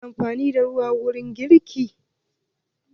Ana amfani da ruwa wurin girki.